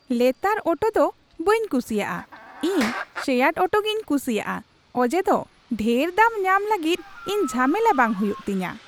ᱞᱮᱛᱟᱲ ᱚᱴᱚ ᱫᱚ ᱵᱟᱹᱧ ᱠᱩᱥᱤᱭᱟᱜᱼᱟ, ᱤᱧ ᱥᱮᱭᱟᱨᱰ ᱚᱴᱳᱜᱮᱧ ᱠᱩᱥᱤᱭᱟᱜᱼᱟ ᱚᱡᱮᱫᱚ ᱰᱷᱮᱨ ᱫᱟᱢ ᱧᱟᱢ ᱞᱟᱹᱜᱤᱫ ᱤᱧ ᱡᱷᱟᱢᱮᱞᱟ ᱵᱟᱝ ᱦᱩᱭᱩᱜ ᱛᱤᱧᱟᱹ ᱾